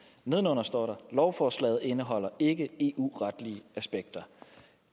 nedenunder står der lovforslaget indeholder ikke eu retlige aspekter